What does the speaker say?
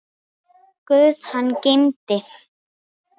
Guð hann geymi.